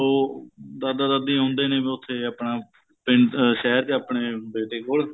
ਉਹ ਦਾਦਾ ਦਾਦੀ ਹੁੰਦੇ ਨੀ ਬੀ ਉਥੇ ਆਪਣਾ ਪਿੰਡ ਸ਼ਹਿਰ ਚ ਆਪਣੇ ਬੇਟੇ ਕੋਲ